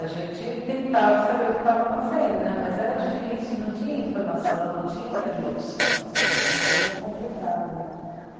A gente tentava saber o que estava acontecendo né, mas era difícil, não tinha informação, não tinha interlocução, era uma coisa complicada né.